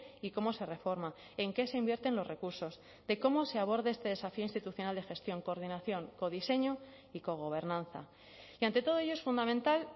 y cómo se reforma en qué se invierten los recursos de cómo se aborde este desafío institucional de gestión coordinación codiseño y cogobernanza y ante todo ello es fundamental